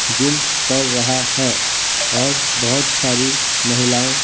gym कर रहा है और बहुत सारी महिलाएं--